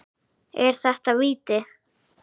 Er þetta víti?